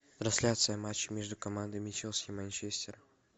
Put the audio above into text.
трансляция матча между командами челси и манчестер